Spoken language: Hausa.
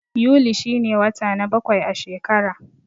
Yuli shi ne wata na bakwai a shekara.